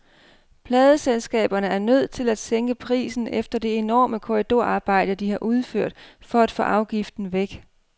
Pladeselskaberne er nødt til at sænke prisen efter det enorme korridorarbejde, de har udført for at få afgiften væk.